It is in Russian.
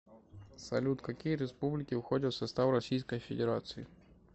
салют какие республики входят в состав российской федерации